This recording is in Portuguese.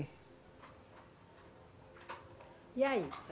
E aí?